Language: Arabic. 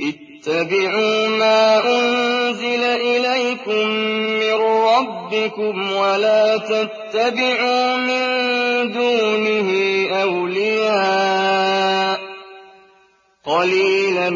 اتَّبِعُوا مَا أُنزِلَ إِلَيْكُم مِّن رَّبِّكُمْ وَلَا تَتَّبِعُوا مِن دُونِهِ أَوْلِيَاءَ ۗ قَلِيلًا